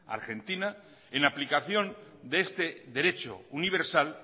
argentina en aplicación de este derecho universal